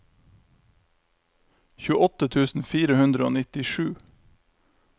tjueåtte tusen fire hundre og nittisju